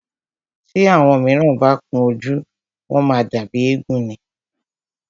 Tí àwọn míràn bá kun ojú, wọ́n má ń dàbí éégún ni.